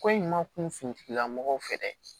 Ko in ma kun furula mɔgɔw fɛ dɛ